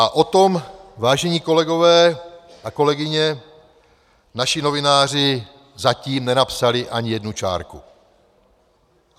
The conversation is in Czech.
A o tom, vážení kolegové a kolegyně, naši novináři zatím nenapsali ani jednu čárku.